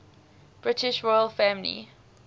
british royal family